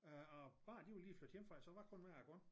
Øh og børnene de var lige flyttet hjemmefra så det var kun mig og konen